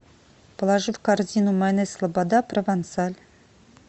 положи в корзину майонез слобода провансаль